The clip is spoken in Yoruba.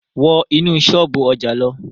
Wọ́ inú ṣọ́ọ̀bú ọjà lọ!